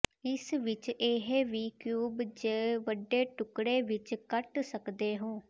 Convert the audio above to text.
ਇਸ ਵਿਚ ਇਹ ਵੀ ਕਿਊਬ ਜ ਵੱਡੇ ਟੁਕੜੇ ਵਿੱਚ ਕੱਟ ਸਕਦੇ ਹੋ